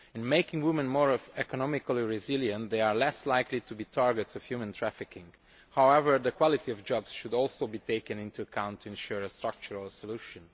In making women more economically resilient, they are less likely to be the target of human trafficking. However, the quality of jobs should also be taken into account to ensure a structural solution.